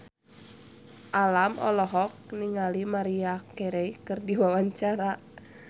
Alam olohok ningali Maria Carey keur diwawancara